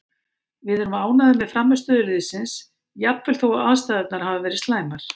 Við erum ánægðir með frammistöðu liðsins jafnvel þó aðstæðurnar hafi verið slæmar,